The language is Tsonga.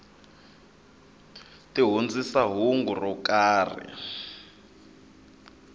ti hundzisa hungu ro karhi